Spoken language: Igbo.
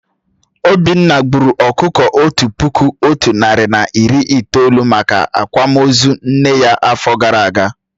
Obinna gburu ọkụkọ Otu puku Otu nari na iri itolu maka Akwama ozu nne ya áfọ gara agaa